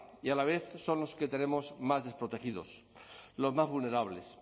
y a la vez son los que tenemos más desprotegidos los más vulnerables